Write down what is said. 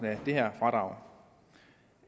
af det her fradrag